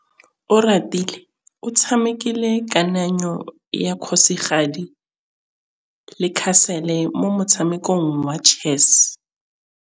Oratile o tshamekile kananyô ya kgosigadi le khasêlê mo motshamekong wa chess.